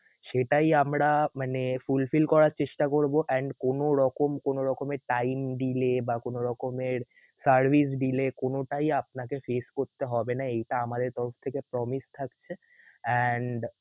সেটাই আমরা মানে~ fulfill করার চেষ্টা করব and কোন রকম~ কোন রকমের time delay বা কোনরকমের service delay কোনটাই আপনাকে face করতে হবে না এইটা আমাদের তরফ থেকে promise থাকছে and